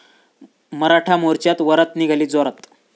मराठा मोर्च्यात वरात निघाली जोरात